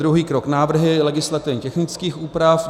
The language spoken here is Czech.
Druhý krok návrhy legislativně technických úprav.